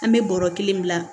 An bɛ bɔrɔ kelen bila